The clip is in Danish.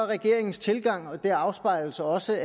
regeringens tilgang og det afspejles også